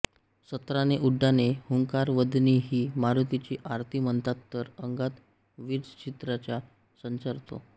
सत्राणे उड्डाणे हुंकार वदनी ही मारुतीची आरती म्हणताना तर अंगात वीरश्रीचा संचार होतो